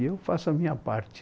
E eu faço a minha parte.